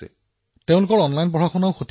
ছোৱালীও পঢ়ি আছে আৰু মোৰ লৰাটোও পঢ়ি আছে